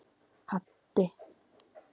Haddi